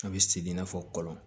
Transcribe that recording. A bɛ segin i n'a fɔ kɔlɔn